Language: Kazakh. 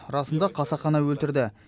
расында қасақана өлтірді